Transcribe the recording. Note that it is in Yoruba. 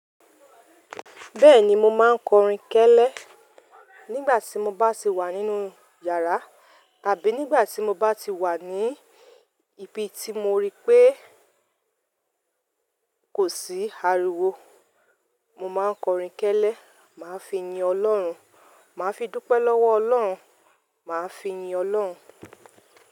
Bẹ́ẹ̀ni mo máa ń kọrin kẹ́lẹ́ nígbà tí mo bá sì wà nínú yàrá tàbí nígbà tí mo bá ti wà ní ibi tí mo rí pé kò sí ariwo. Mo máa kọrin kẹ́lẹ́, màá fi yin Ọlọ́run. Màá fi dúpẹ́ lọ́wọ Ọlọ́run, màá fi yin Ọlọ́run.